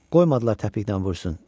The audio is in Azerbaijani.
qoymadılar təpiklə vursun.